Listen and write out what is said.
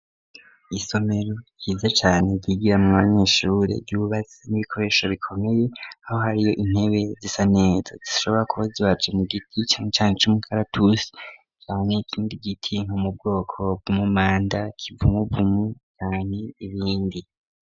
Isomero yiza cane zigira mu banyeshure ryubazi n'ibikoresho bikomeye aho hariyo intebe zisanezo zisshobora kubo ziwaje mu giti cae cane c'umukaratusi camwe ikindi gitinko mu bwoko bwumumanda kivumuvumu cane ibindi.